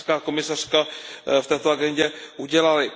komisařka v této agendě udělaly.